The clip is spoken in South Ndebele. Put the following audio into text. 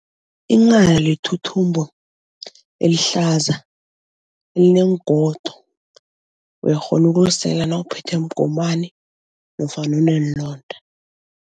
Inghana lithuthumbo elihlaza, elineengodo. Uyakghona ukulisela nawuphethwe mgomani nofana uneenlonda.